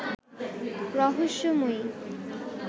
রহস্যময়ী